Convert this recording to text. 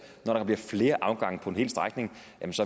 når der bliver flere afgange på en hel strækning